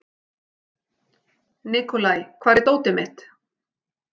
Nikolai, hvar er dótið mitt?